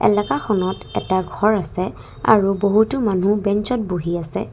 এলাকাখনত এটা ঘৰ আছে আৰু বহুতো মানুহ বেঞ্চ ত বহি আছে।